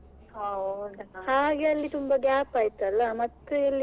ಹೌದಾ.